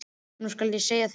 Nú skal ég segja þér eitt.